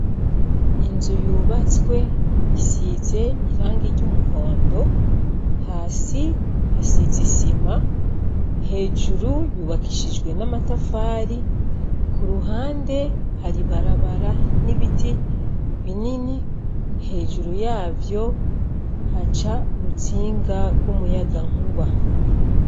Inzu yubatswe isize irangi ry'umuhondo hasi hasiz isima hejuru yubakishijwe n'amatafari ku ruhande haribarabara n'ibiti binini hejuru yavyo haca uru ntsinga rw' umuyaga nkuba.